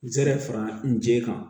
N zɛrɛ fara n jɛ kan